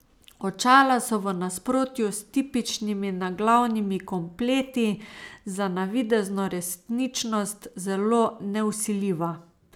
Očala so v nasprotju s tipičnimi naglavnimi kompleti za navidezno resničnost zelo nevsiljiva.